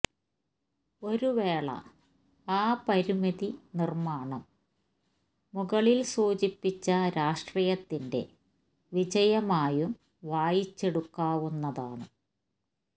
ഒരുവേള ആ പരിമിതി നിര്മ്മാണം മുകളില് സൂചിപ്പിച്ച രാഷ്ട്രീയത്തിന്റെ വിജയമായും വായിച്ചെടുക്കാവുന്നതാണ്